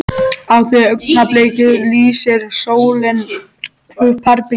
Á því augnabliki lýsir sólin upp herbergið.